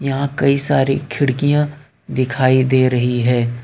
यहां कई सारी खिड़कियां दिखाई दे रही है।